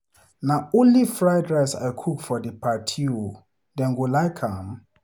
Na only fried rice I cook for the party oo, dem go like am?